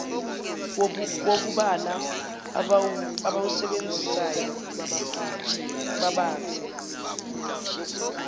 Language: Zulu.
wokubala abawusebenzisayo babathe